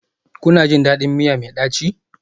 Kuna jin daɗin miya mai ɗaci?